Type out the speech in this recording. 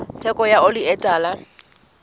theko ya oli e tala